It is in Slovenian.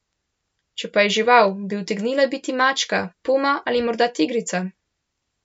Če pa je žival, bi utegnila biti mačka, puma ali morda tigrica?